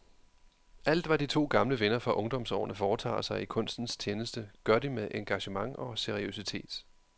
Alt hvad de to gamle venner fra ungdomsårene foretager sig i kunstens tjeneste, gør de med engagement og seriøsitet.